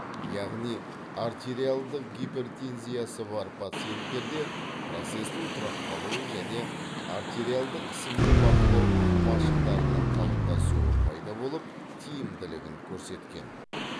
яғни артериалдық гипертензиясы бар пациенттерде процестің тұрақталуы және артериалдық қысымды бақылау машықтарының қалыптасуы пайда болып тиімділігін көрсеткен